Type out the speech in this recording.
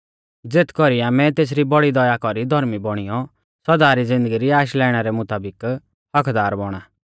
ज़ेथ कौरी आमै तेसरी बौड़ी दया कौरी धौर्मी बौणीयौ सौदा री ज़िन्दगी री आश लाइणा रै मुताबिक हक्क्कदार बौणा